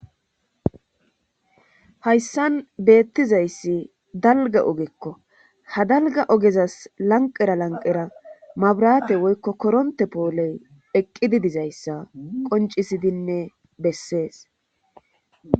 hayssan beettizayssi dalga ogekko ha dalga ogezas lanqera lanqera mabrate woykko koronte pooley eqqidi dizayssa qoncisidinne bessees